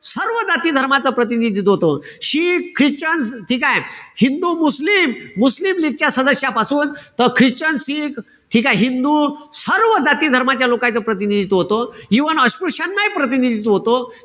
सर्व जाती-धर्मच प्रतिनिधित्व होतं. शीख, ख्रिश्चन, ठीकेय? हिंदू, मुस्लिम, मुस्लिम लीगच्या सदस्यापासून त ख्रिश्चन, शीख, ठीकेय? हिंदू, सर्व जाती-धर्माच्या लोकाईचं प्रतिनिधित्व होतं. Even अस्पृश्यानाही प्रतिनिधित्व होतं.